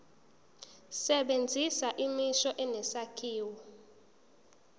sebenzisa imisho enesakhiwo